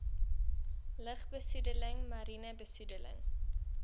lugbesoedeling mariene besoedeling